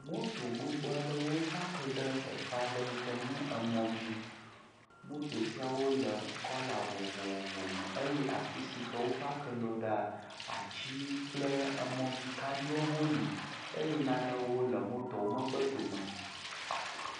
Moto gbogbo aɖe wopaki ɖe teƒe aɖe yike nye mo dzi moto sia wole kɔla vovovo me eye afisi wopaki woɖo atiwo kple mɔdzikaɖiwo ha li eye nanewo le moto ƒe megbedome